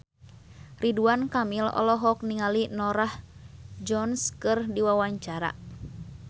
Ridwan Kamil olohok ningali Norah Jones keur diwawancara